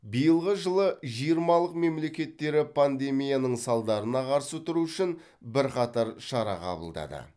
биылғы жылы жиырмалық мемлекеттері пандемияның салдарына қарсы тұру үшін бірқатар шара қабылдады